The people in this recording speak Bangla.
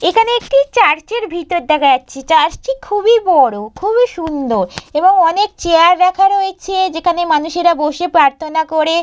এখানে একটি চার্চের ভিতর দেখা যাচ্ছে চার্চ - টি খুবই বড় খুবই সুন্দর এবং অনেক চেয়ার রাখা রয়েছে যেখানে মানুষেরা বসে প্রাথর্না করে।